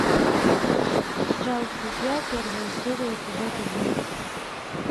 сериал друзья первая серия эпизод один